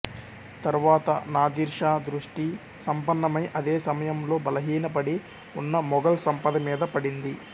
తరువాత నాదిర్షా దృష్టి సంపన్నమై అదే సమయంలో బలహీనపడి ఉన్న మొఘల్ సంపద మీద పడింది